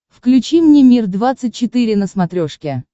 включи мне мир двадцать четыре на смотрешке